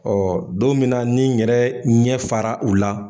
don min na ni n yɛrɛ ɲɛ fara o la